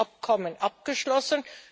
Abkommen abgeschlossen.